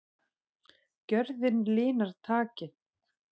Gjörðin linar takið.